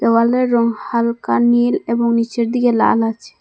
দেওয়ালের রং হালকা নীল এবং নীচের দিকে লাল আছে।